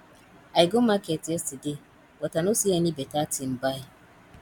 i go market yesterday but i know see any better thing buy